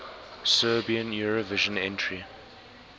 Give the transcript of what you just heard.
serbian eurovision entry